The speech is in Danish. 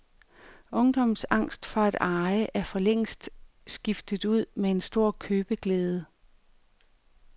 Ungdommens angst for at eje er forlængst skiftet ud med en stor købeglæde.